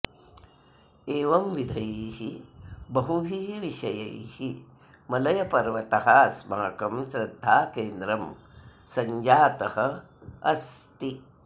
एवंविधैः बहुभिः विषयैः मलयपर्वतः अस्माकं श्रद्धाकेन्द्रं सञ्जातः अस्ति